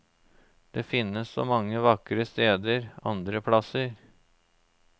Det finnes så mange vakre steder andre plasser.